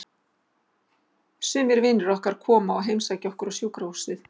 Sumir vinir okkar koma og heimsækja okkur á sjúkrahúsið.